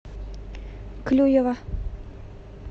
клюева